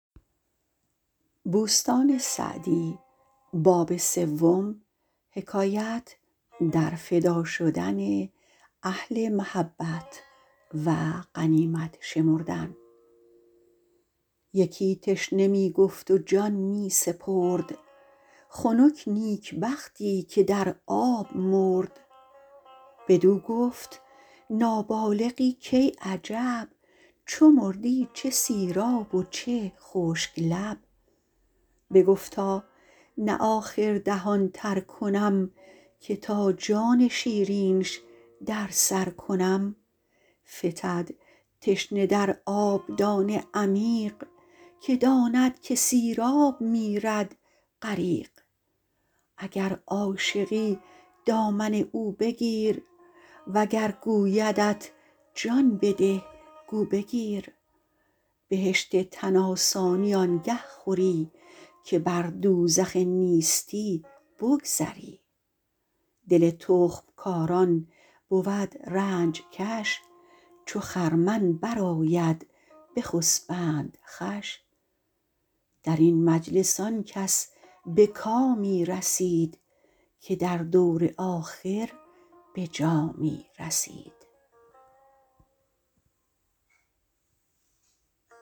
یکی تشنه می گفت و جان می سپرد خنک نیکبختی که در آب مرد بدو گفت نابالغی کای عجب چو مردی چه سیراب و چه خشک لب بگفتا نه آخر دهان تر کنم که تا جان شیرینش در سر کنم فتد تشنه در آبدان عمیق که داند که سیراب میرد غریق اگر عاشقی دامن او بگیر وگر گویدت جان بده گو بگیر بهشت تن آسانی آنگه خوری که بر دوزخ نیستی بگذری دل تخم کاران بود رنج کش چو خرمن برآید بخسبند خوش در این مجلس آن کس به کامی رسید که در دور آخر به جامی رسید